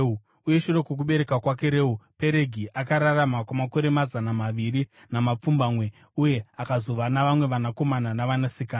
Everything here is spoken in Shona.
Uye shure kwokubereka kwake Reu, Peregi akararama kwamakore mazana maviri namapfumbamwe uye akazova navamwe vanakomana navanasikana.